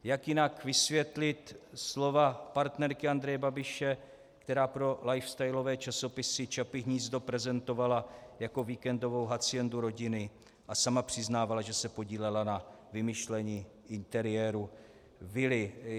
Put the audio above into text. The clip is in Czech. Jak jinak vysvětlit slova partnerky Andreje Babiše, která pro lifestylové časopisy Čapí hnízdo prezentovala jako víkendovou haciendu rodiny a sama přiznávala, že se podílela na vymýšlení interiéru vily?